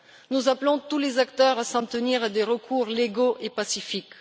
Nous appelons tous les acteurs à s'en tenir à des recours légaux et pacifiques.